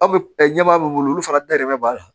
Aw bɛ ɲɛbaa minnu bolo olu fana dalen bɛ b'a la